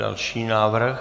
Další návrh?